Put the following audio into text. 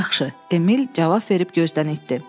Yaxşı, Emil cavab verib gözdən itdi.